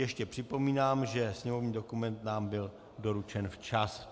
Ještě připomínám, že sněmovní dokument nám byl doručen včas.